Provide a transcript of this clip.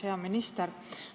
Hea minister!